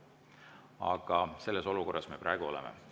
Aga selles olukorras me praegu oleme.